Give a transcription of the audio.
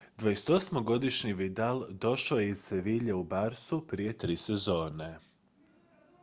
28-godišnji vidal došao je iz seville u barçu prije tri sezone